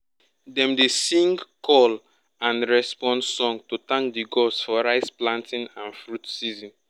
dem dey sing call and response song to thank the gods for rice planting and fruit season.